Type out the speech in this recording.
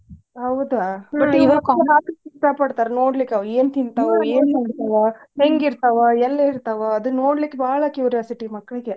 ಹೌದಾ ನೋಡ್ಲಿಕ್ಕ್ ಏನ್ ತಿಂತಾವ್ ಏನಿಲ್ಲಾ ಹೆಂಗಿರ್ತಾವ ಎಲ್ಲೇ ಇರ್ತಾವ ಅದನ್ ನೋಡ್ಲಿಕ್ಕ್ ಬಾಳ curiosity ಮಕ್ಕಳಿಗೆ.